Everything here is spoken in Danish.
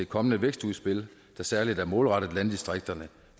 kommende vækstudspil der særlig er målrettet landdistrikterne